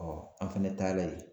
an fɛnɛ taara yen